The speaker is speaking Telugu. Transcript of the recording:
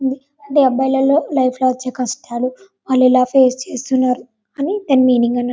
ది అబ్బాయిలలో లైఫ్ లో వచ్చే కస్టాలు వాళ్ళు ఎలా పేస్ చేస్తున్నారు అని దాన్ మీనింగ్ అన --